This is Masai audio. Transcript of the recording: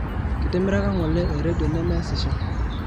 kitimiraka ngole e redio nemeesisho